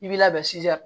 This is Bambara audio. I b'i labɛn sisan